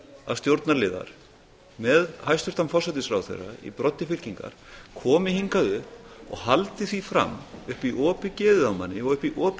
að stjórnarliðar með hæstvirtan forsætisráðherra í broddi fylkingar komi hingað upp og haldi því fram upp í opið geðið á manni og upp í opið